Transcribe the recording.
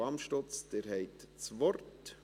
Frau Amstutz, Sie haben das Wort.